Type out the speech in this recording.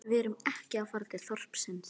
Við erum ekki að fara til þorpsins